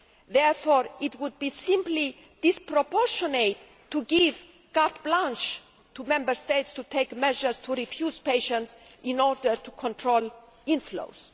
Therefore, it would be simply disproportionate to give carte blanche to Member States to take measures to refuse patients in order to control inflows.